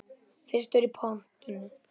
Fyrstur í pontu.